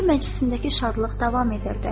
Toy məclisindəki şadlıq davam edirdi.